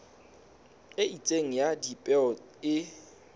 e itseng ya dipeo e